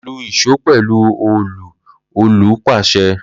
Lu ìṣó pẹlu òòlù Olu pase